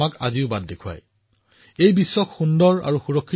পৰিয়ালৰ সমৰ্থন আৰু ত্যাগ অবিহনে আৰক্ষীৰ দৰে এটা কঠিন সেৱা অতি কঠিন